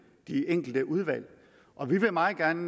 de enkelte udvalg og vi vil meget gerne